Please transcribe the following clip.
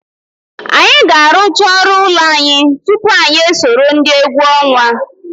Anyị ga-arụcha ọrụ ụlọ anyị tupu anyị esoro ndị egwu ọnwa.